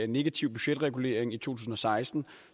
negativ budgetregulering i to tusind og seksten